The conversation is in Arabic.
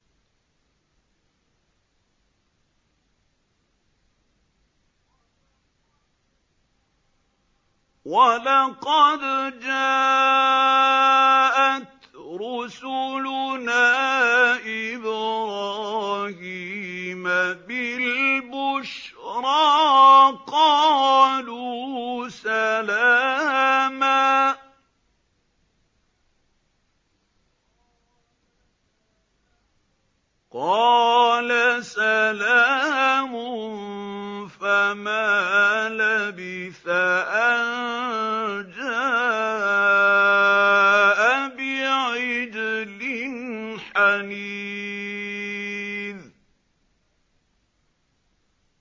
وَلَقَدْ جَاءَتْ رُسُلُنَا إِبْرَاهِيمَ بِالْبُشْرَىٰ قَالُوا سَلَامًا ۖ قَالَ سَلَامٌ ۖ فَمَا لَبِثَ أَن جَاءَ بِعِجْلٍ حَنِيذٍ